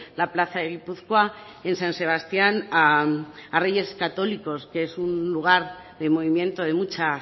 la plaza de gipuzkoa en san sebastián a reyes católicos que es un lugar de movimiento de mucha